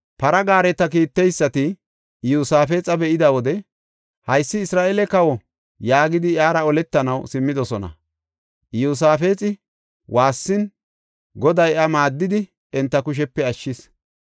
Para gaareta kiitteysati Iyosaafexa be7ida wode, “Haysi Isra7eele kawa” yaagidi iyara oletanaw simmidosona. Iyosaafexi waassin Goday iya maaddidi enta kushepe ashshis.